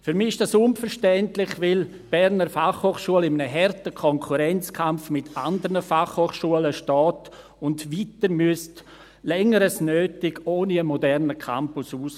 Für mich ist dies unverständlich, weil die BFH in einem harten Konkurrenzkampf mit anderen Fachhochschulen steht und weiter, länger als nötig, ohne einen modernen Campus auskommen müsste.